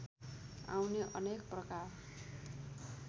आउने अनेक प्रकार